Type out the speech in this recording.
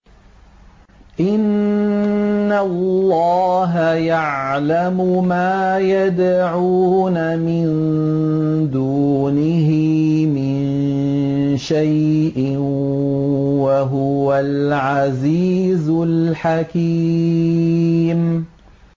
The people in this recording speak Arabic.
إِنَّ اللَّهَ يَعْلَمُ مَا يَدْعُونَ مِن دُونِهِ مِن شَيْءٍ ۚ وَهُوَ الْعَزِيزُ الْحَكِيمُ